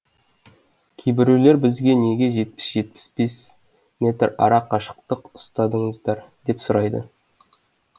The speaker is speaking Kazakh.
кейбіреулер бізге неге жетпіс жетпіс бес метр ара қашықтық ұстадыңыздар деп сұрайды